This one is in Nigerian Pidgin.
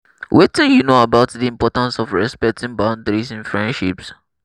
wetin you know about di importance of respecting boundiaries in friendships?